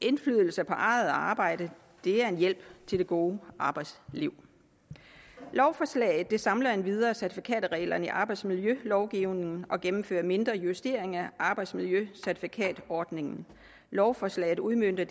indflydelse på eget arbejde er en hjælp til det gode arbejdsliv lovforslaget samler endvidere certifikatreglerne i arbejdsmiljølovgivningen og gennemfører mindre justeringer af arbejdsmiljøcertifikatordningen lovforslaget udmønter